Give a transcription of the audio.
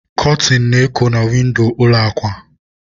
Kọtịn na-eko na windo ụlọ akwa.